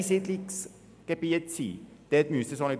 Das steht explizit im Vorstoss.